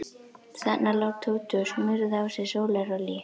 Þarna lá Tóti og smurði á sig sólarolíu.